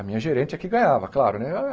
A minha gerente é que ganhava, claro, né? ah eh